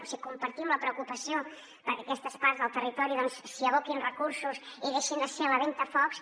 o sigui compartim la preocupació perquè a aquestes parts del territori s’hi aboquin recursos i deixin de ser la ventafocs